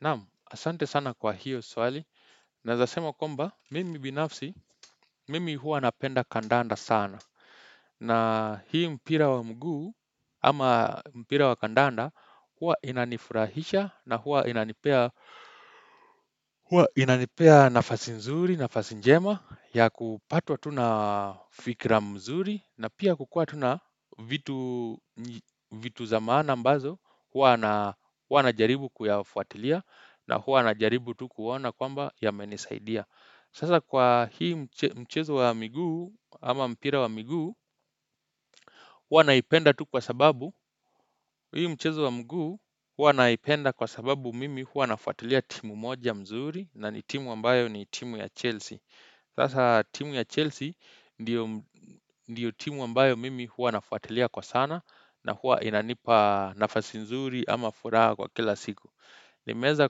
Naam, asante sana kwa hiyo swali. Naweza sema kwamba, mimi binafsi, mimi huwa napenda kandanda sana. Na hii mpira wa mguu, ama mpira wa kandanda, hua inanifurahisha na hua inanipea nafasi nzuri, nafasi njema, ya kupatwa tu na fikra mzuri na pia kukua tu na vitu za maana ambazo huwa najaribu kuyafuatilia na huwa najaribu tu kuona kwamba yamenisaidia Sasa kwa hii mchezo wa miguu ama mpira wa miguu huwa naipenda tu kwa sababu Hii mchezo wa mguu huwa naipenda kwa sababu mimi huwa nafuatilia timu moja mzuri na ni timu ambayo ni timu ya Chelsea Sasa timu ya Chelsea ndiyo timu ambayo mimi huwa nafuatilia kwa sana na huwa inanipa nafasi mzuri ama furaha kwa kila siku Nimeweza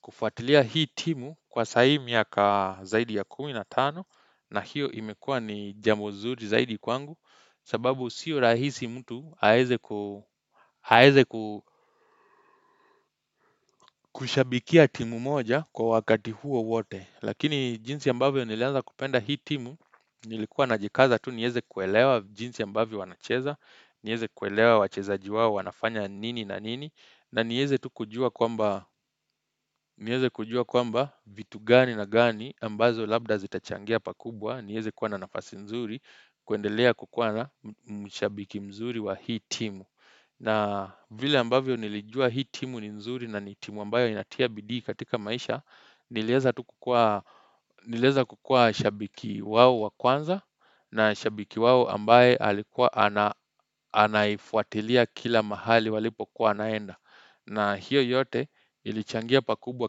kufuatilia hii timu kwa saa hii miaka zaidi ya kumi na tano na hiyo imekuwa ni njia mzuri kwangu sababu sio rahisi mtu aweze kushabikia timu moja kwa wakati huo wote. Lakini jinsi ambavyo nilianza kupenda hii timu, nilikuwa najikaza tu niweze kuelewa jinsi ambavyo wanacheza, niweze kuelewa wachezaji wao wanafanya nini na nini, na niweze tu kujua kwamba vitu gani na gani ambazo labda zitachangia pakubwa, niweze kuwa na nafasi nzuri, kuendelea kukuwa na mshabiki mzuri wa hii timu. Na vile ambavyo nilijua hii timu ni nzuri na ni timu ambayo inatia bidii katika maisha, niliweza kukua shabiki wao wa kwanza na shabiki wao ambaye anaifuatilia kila mahali walipokua wanaenda. Na hiyo yote ilichangia pakubwa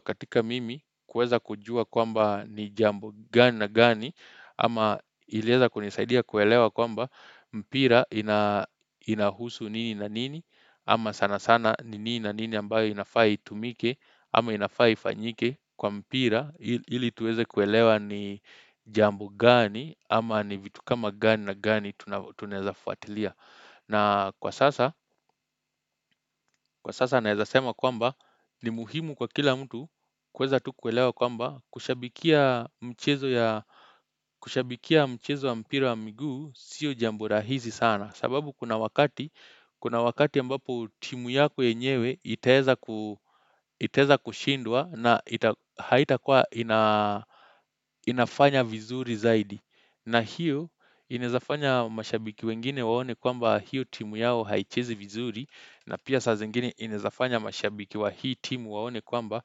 katika mimi kuweza kujua kwamba ni jambo gani na gani ama iliweza kunisaidia kuelewa kwamba mpira inahusu nini na nini ama sana sana nini na nini ambayo inafaa itumike ama inafaa ifanyike kwa mpira ili tuweze kuelewa ni jambo gani ama ni vitu kama gani na gani tunaweza fuatilia na kwa sasa, kwa sasa naweza sema kwamba ni muhimu kwa kila mtu kuweza tu kuelewa kwamba kushabikia mchezo wa mpira wa miguu sio jambo rahisi sana. Sababu kuna wakati, kuna wakati ambapo timu yako yenyewe itaweza kushindwa na haitakua inafanya vizuri zaidi. Na hiyo inaweza fanya mashabiki wengine waone kwamba hiyo timu yao haichezi vizuri na pia saa zingine inawezafanya mashabiki wa hii timu waone kwamba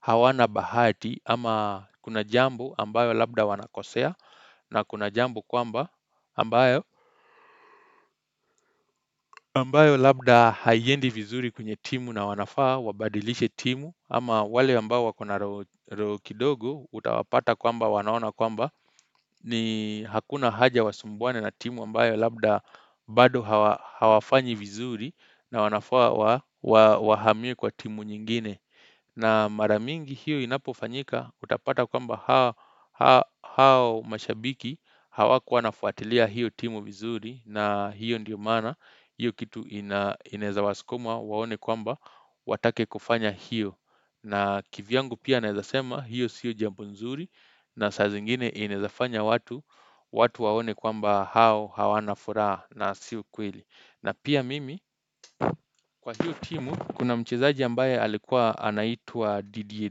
hawana bahati ama kuna jambo ambayo labda wanakosea na kuna jambo kwamba ambayo ambayo labda haiendi vizuri kwenye timu na wanafaa wabadilishe timu ama wale ambao wakona roho kidogo utawapata kwamba wanaona kwamba ni hakuna haja wasumbuane na timu ambayo Labda bado hawafanyi vizuri na wanafaa wahamie kwa timu nyingine na mara mingi hiyo inapofanyika Utapata kwamba hao mashabiki Hawakuwa wanafuatilia hiyo timu vizuri na hiyo ndiyo maana hiyo kitu inaweza wasukuma waone kwamba watake kufanya hiyo na kivyangu pia naweza sema hiyo sio jambo nzuri na saa zingine inaweza fanya watu watu waone kwamba hao hawana furaha na sio ukweli na pia mimi Kwa hiyo timu kuna mchezaji ambaye Alikuwa anaitwa Didier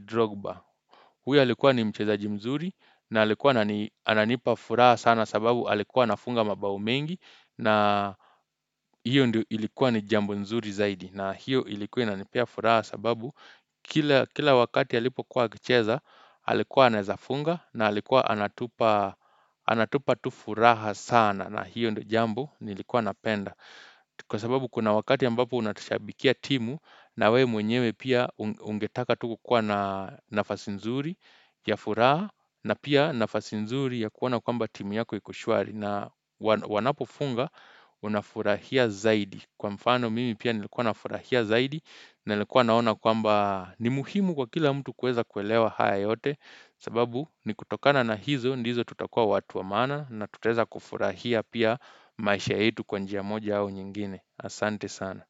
Drogba Huyo alikuwa ni mchezaji mzuri na alikuwa ananipa furaha sana sababu alikuwa anafunga mabao mengi na hiyo ndio ilikuwa ni jambo nzuri zaidi na hiyo ilikuwa inanipea furaha sababu kila wakati Alipokuwa akicheza Alikuwa anaweza funga na alikuwa anatupa Anatupa tu furaha sana na hiyo ndio jambo nilikuwa napenda Kwa sababu kuna wakati ambapo unashabikia timu na we mwenyewe pia ungetaka tu kukua na nafasi nzuri ya furaha na pia nafasi nzuri ya kuona kwamba timu yako iko shwari na wanapofunga unafurahia zaidi Kwa mfano mimi pia nilikuwa nafurahia zaidi Nilikuwa naona kwamba ni muhimu kwa kila mtu kuweza kuelewa haya yote sababu ni kutokana na hizo ndizo tutakua watu wa maana na tutaweza kufurahia pia maisha yetu kwa njia moja au nyingine. Asante sana.